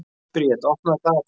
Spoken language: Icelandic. Briet, opnaðu dagatalið mitt.